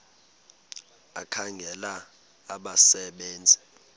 ekhangela abasebe nzi